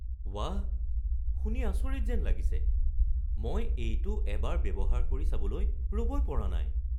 বাহ, শুনি আচৰিত যেন লাগিছে! মই এইটো এবাৰ ব্যৱহাৰ কৰি চাবলৈ ৰ'বই পৰা নাই।